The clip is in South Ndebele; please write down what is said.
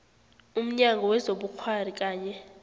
umnyango wezobukghwari kanye